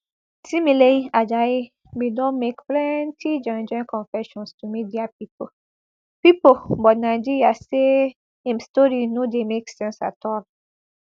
timileyin ajayi bin don make plenti joinjoin confessions to media pipo pipo but nigeria say im story no dey make sense at all